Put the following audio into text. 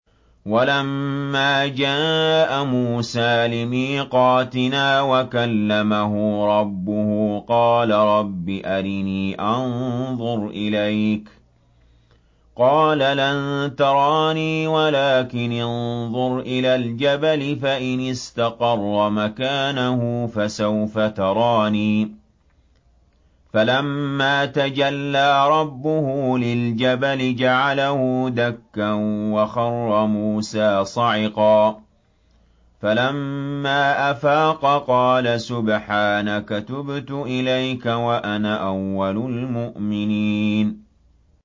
وَلَمَّا جَاءَ مُوسَىٰ لِمِيقَاتِنَا وَكَلَّمَهُ رَبُّهُ قَالَ رَبِّ أَرِنِي أَنظُرْ إِلَيْكَ ۚ قَالَ لَن تَرَانِي وَلَٰكِنِ انظُرْ إِلَى الْجَبَلِ فَإِنِ اسْتَقَرَّ مَكَانَهُ فَسَوْفَ تَرَانِي ۚ فَلَمَّا تَجَلَّىٰ رَبُّهُ لِلْجَبَلِ جَعَلَهُ دَكًّا وَخَرَّ مُوسَىٰ صَعِقًا ۚ فَلَمَّا أَفَاقَ قَالَ سُبْحَانَكَ تُبْتُ إِلَيْكَ وَأَنَا أَوَّلُ الْمُؤْمِنِينَ